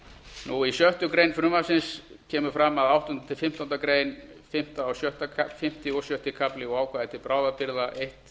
lækka í sjöttu greinar frumvarpsins kemur fram að áttundi til fimmtándu grein fimmta og sjötti kafli og ákvæði til bráðabirgða eins